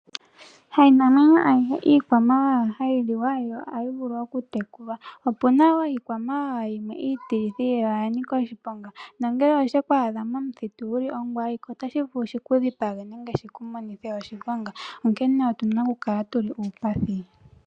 Hainamwenyo ayihe iikwamawawa hayi liwa yo ohayi vulu oku tekulwa, opuna wo iikwamawawa yimwe iitilithi yo oya nika oshiponga no ngele osheku adha momuthitu wuli ongwaike otashi vulu shi ku dhipage nenge shili monithe oshiponga, onkene otuna okukala tuli miipathi.